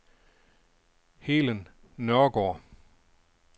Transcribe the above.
Helen Nørregaard